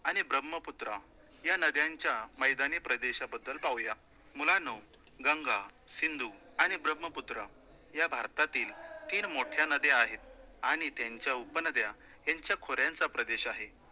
आणि ब्रह्मपुत्रा या नद्यांच्या मैदानी प्रदेशाबद्दल पाहूया. मुलांनो, गंगा, सिंधु आणि ब्रह्मपुत्रा या भारतातील तीन मोठया नद्या आहेत आणि त्यांच्या उपनद्या यांच्या खोऱ्यांचा प्रदेश आहे.